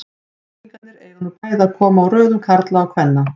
Heimspekingarnir eiga nú bæði að koma úr röðum kvenna og karla.